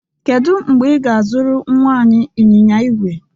Kedu mgbe ị ga-azụrụ nnwa anyị anyịnya igwe?